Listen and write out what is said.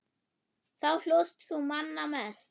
Þá hlóst þú manna mest.